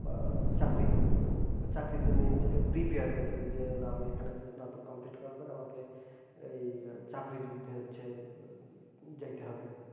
আহ চাকরি জন্য নিজেকে prepare করে ফেলি যে না আমি এখানে স্নাতক complete করার পরে এই চাকরি যুদ্ধে হচ্ছে যাইতে হবে।